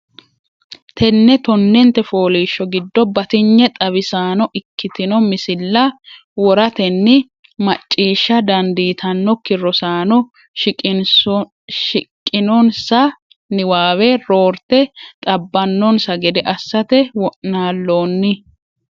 Tenne tonnente fooliishsho giddo batinye xawisaano ikkitino misilla woratenni macciishsha dandiitannokki rosaano shiqqinonsa niwaawe roorte xab- bannonsa gede assate wo’naallonni.